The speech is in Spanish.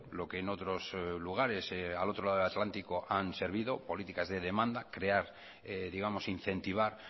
lo que en otros lugares al otro lado del atlántico han servido políticas de demanda crear digamos incentivar